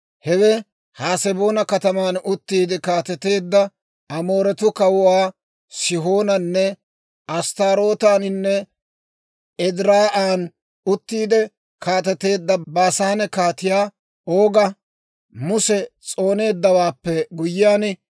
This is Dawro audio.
Hewe Haseboona kataman uttiide kaateteedda Amooretuu Kawuwaa Sihoonanne, Asttaarootaaninne Ediraa'an uttiide kaateteedda Baasaane Kaatiyaa Ooga, Muse s'ooneeddawaappe guyyiyana.